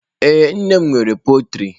Ee, nne m nwere pọltrị.